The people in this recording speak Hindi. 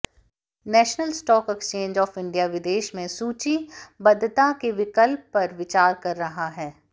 national stock exchange of India विदेश में सूचीबद्धता के विकल्प पर विचार कर रहा है